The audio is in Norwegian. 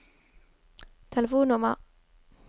telefonnummer